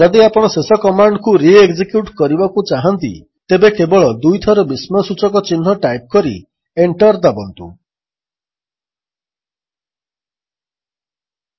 ଯଦି ଆପଣ ଶେଷ କମାଣ୍ଡାକୁ ରି ଏକ୍ଜେକ୍ୟୁଟ୍ କରିବାକୁ ଚାହାନ୍ତି ତେବେ କେବଳ ଦୁଇଥର ବିସ୍ମୟସୂଚକ ଚିହ୍ନ ଏକ୍ସ୍ଲାମେଶନ୍ ମାର୍କ ଟାଇପ୍ କରି ଏଣ୍ଟର୍ ଦାବନ୍ତୁ